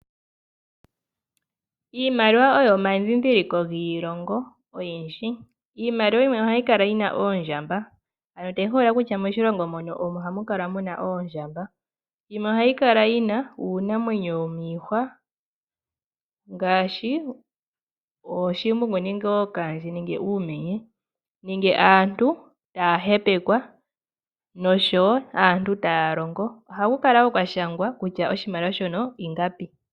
Iimaliwa oyo omandhindhiliko giilongo oyindji. Iimaliwa yimwe ohayi kala yi na oondjamba, tayi holola kutya moshilongo mono ohamu kala muna oondjamba. Yimwe ohayi kala yi na uunamwenyo womiihwa, ngaashi ooshimbungu nenge ookaandje nenge uumenye nenge aantu taya hepekwa noshowo aantu taya longo. Ohaku kala wo kwa shangwa kutya oshimaliwa shono ingapi.